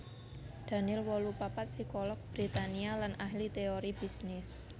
Daniel wolu papat psikolog Britania lan ahli téori bisnis